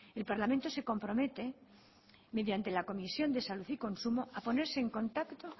el parlamento se compromete mediante la comisión de salud y consumo a ponerse en contacto